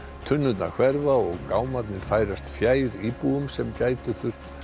tunnurnar hverfa og gámarnir færast fjær íbúum sem gætu